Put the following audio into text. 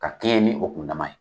Ka kɛɲɛn ni o kundama ye.